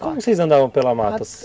Como vocês andavam pela mata?